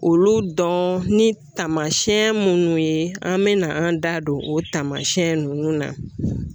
Olu dɔn ni taamasɛn munnu ye an mena an da don o taamasɛn nunnu na